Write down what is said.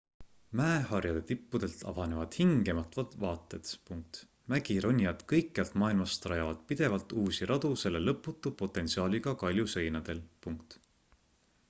mäeharjade tippudelt avanevad hingematvad vaated mägironijad kõikjalt maailmast rajavad pidevalt uusi radu selle lõputu potentsiaaliga kaljuseinadel